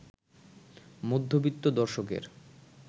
মধ্যবিত্ত দর্শকের